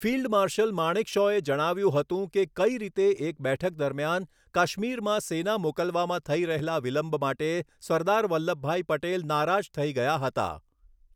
Field marshal માણેકશૉએ જણાવ્યું હતું કે કઈ રીતે એક બેઠક દરમિયાન કાશ્મીરમાં સેના મોકલવામાં થઈ રહેલા વિલંબ માટે સરદાર વલ્લભભાઈ પટેલ નારાજ થઈ ગયા હતા.